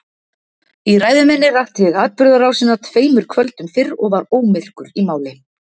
Í ræðu minni rakti ég atburðarásina tveimur kvöldum fyrr og var ómyrkur í máli.